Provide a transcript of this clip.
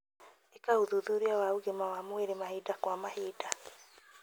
ĩka ũthuthuria wa ũgima wa mwĩrĩ mahinda kwa mahinda